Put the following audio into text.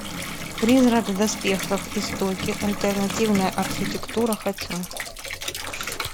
призрак в доспехах истоки альтернативная архитектура хочу